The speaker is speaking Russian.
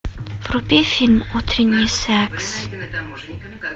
вруби фильм утренний секс